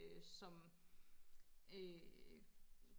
som øh